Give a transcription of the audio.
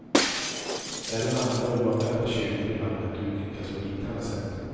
Även andra oanvända kyrkor i landet utnyttjas på liknande sätt.